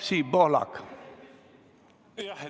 Siim Pohlak, palun!